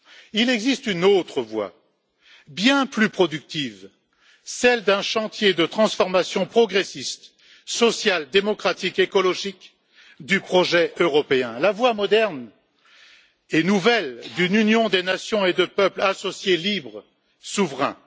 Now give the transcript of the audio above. Il existe une autre voie bien plus productive, celle d'un chantier de transformation progressiste, sociale, démocratique et écologique du projet européen, c'est à dire la voie moderne et nouvelle d'une union des nations et de peuples associés, libres, souverains.